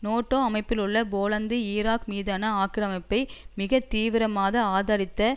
NATO அமைப்பிலுள்ள Poland Iraq மீதான ஆக்கிரமிப்பை மிக தீவிரமாக ஆதரித்த